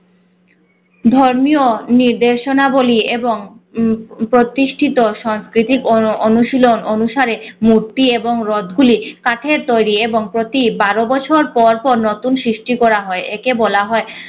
ধর্মীয় নির্দেশনা বলি এবং উম প্রতিষ্ঠিত সংস্কৃতিক অনু~ অনুশীলন অনুসারে মূর্তি এবং রথ গুলি কাঠের তৈরি এবং প্রতি বারো বছর পর পর নতুন সৃষ্টি করা হয়। একে বলা হয়